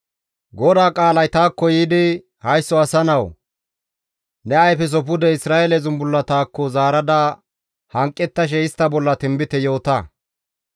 «Haysso asa nawu! Ne ayfeso pude Isra7eele zumbullatakko zaarada hanqettashe istta bolla tinbite yoota.